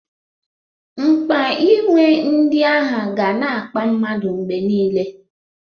Mkpa inwe ndị aha ga na-akpa mmadu mgbe niile.